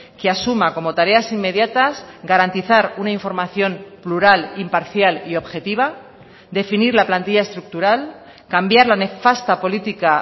que asuma como tareas inmediatas garantizar una información plural imparcial y objetiva definir la plantilla estructural cambiar la nefasta política